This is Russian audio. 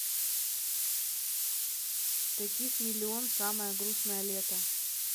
таких миллион самое грустное лето